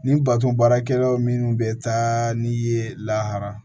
Nin baton baarakɛla minnu bɛ taa ni ye lahara